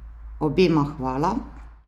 Obema hvala!